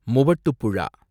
Muvattupuzha